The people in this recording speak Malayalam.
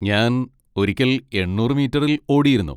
ഞാൻ ഒരിക്കൽ എണ്ണൂറ് മീറ്ററിൽ ഓടിയിരുന്നു.